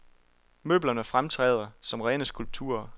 Møblerne fremtræder som rene skulpturer.